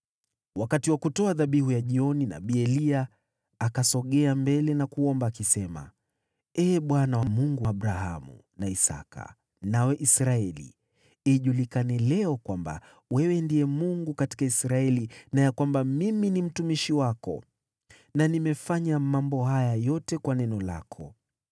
Wakati wa kutoa dhabihu ya jioni, nabii Eliya akasogea mbele na kuomba, akisema: “Ee Bwana , Mungu wa Abrahamu, na Isaki na Israeli, ijulikane leo kwamba wewe ndiye Mungu katika Israeli na ya kwamba mimi ni mtumishi wako na nimefanya mambo haya yote kwa neno lako.